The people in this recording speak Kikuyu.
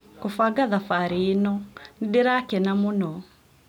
gũbanga thabarĩ ĩno. Nĩ ndĩrakena mũno.